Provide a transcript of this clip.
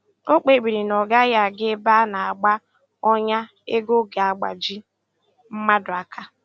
O kpebiri na ọ gaghị aga ebe a na - agba ọnya ego ga-agbaji mmadụ aka